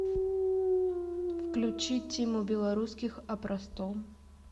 включи тиму белорусских о простом